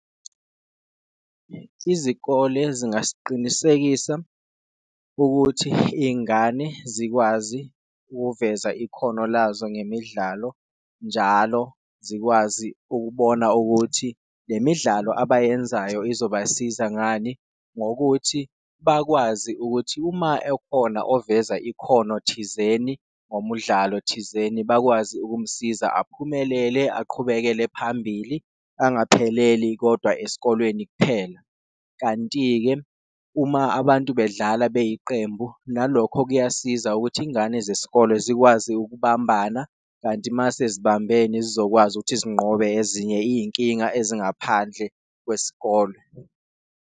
Izikole zingasiqinisekisa ukuthi ingane zikwazi ukuveza ikhono lazo ngemidlalo, njalo zikwazi ukubona ukuthi le midlalo abayenzayo izobasiza ngani, ngokuthi bakwazi ukuthi uma ekhona oveza ikhono thizeni ngomudlalo thizeni, bakwazi ukumsiza aphumelele aqhubekele phambili angapheleli kodwa esikolweni kuphela. Kanti-ke uma abantu bedlala beyiqembu nalokho kuyasiza ukuthi ingane zesikole zikwazi ukubambana kanti mase zibambene zizokwazi ukuthi zinqobe ezinye iyinkinga ezingaphandle kwesikole.